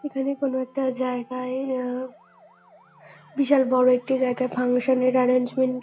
এখানে কোনো একটা জায়গায় আ বিশাল বড় একটি জায়গায় ফাংশান -এর অ্যারেঞ্জমেন্ট--